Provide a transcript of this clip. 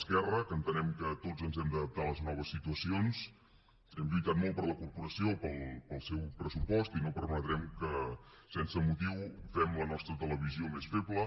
esquerra que entenem que tots ens hem d’adaptar a les noves situacions hem lluitat molt per la corporació pel seu pressupost i no permetrem que sense motiu fem la nostra televisió més feble